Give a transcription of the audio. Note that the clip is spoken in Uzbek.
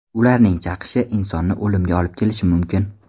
Ularning chaqishi insonni o‘limga olib kelishi mumkin.